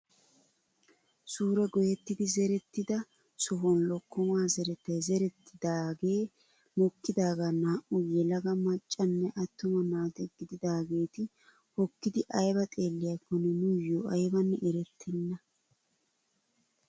Suure goyettidi zerettida sohuwaan lokkomaa zerettay zerettidagee mokkidaagaa Naa"u yelaga maccanne attuma naata gididageeti hookkidi aybaa xeelliyaakonne nuyoo aybanne erettena.